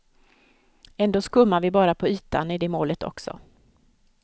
Ändå skummar vi bara på ytan i det målet också.